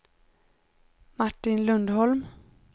Martin Lundholm